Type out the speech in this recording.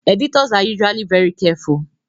Editors are usually very careful